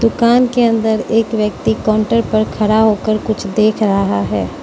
कान के अंदर एक व्यक्ति काउंटर पर खरा होकर कुछ देख रहा है।